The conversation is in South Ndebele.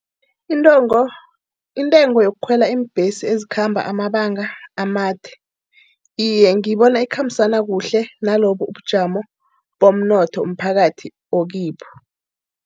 Intengo, intengo yokukhwela iimbhesi ezikhamba amabanga amade. Iye, ngiyibona ikhambisana kuhle nalobubujamo bomnotho umphakathi okibo.